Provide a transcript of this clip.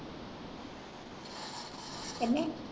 ਕਿੰਨੇ।